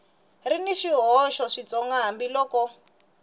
ri na swihoxo switsongo hambiloko